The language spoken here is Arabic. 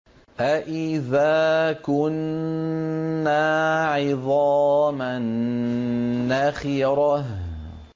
أَإِذَا كُنَّا عِظَامًا نَّخِرَةً